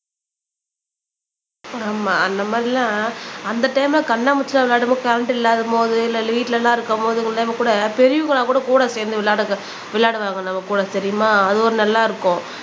ஆமா அந்த மாதிரி எல்லாம் அந்த டைம்ல கண்ணாமூச்சி எல்லாம் விளையாடும்போது கரண்ட் இல்லாத மோது இல்ல வீட்டுல எல்லாம் இருக்கும்போது கூட பெரியவங்க எல்லாம் கூட கூட சேர்ந்து விளையாடு விளையாடுவாங்க நம்ம கூட தெரியுமா அது ஒரு நல்லா இருக்கும்.